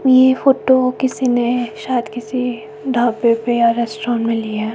ये फोटो किसी ने शायद किसी ढाबे पे या रेस्टोरेंट मे ली है।